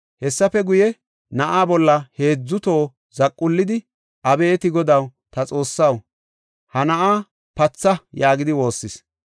Hessafe guye, na7aa bolla heedzu toho zaqullidi, “Abeeti Godaw, ta Xoossaw, ha na7aa patha” yaagidi woossis.